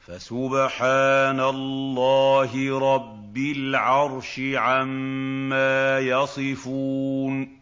فَسُبْحَانَ اللَّهِ رَبِّ الْعَرْشِ عَمَّا يَصِفُونَ